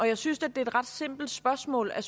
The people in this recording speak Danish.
jeg synes da det er et ret simpelt spørgsmål at